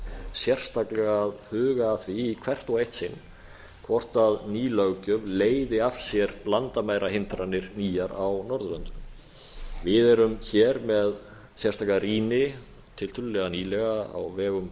sérstaklega að huga að því í hvert og eitt sinn hvort ný löggjöf leiði af sér landamærahindranir víðar á norðurlöndunum við erum hér með sérstaka rýni tiltölulega nýlega á vegum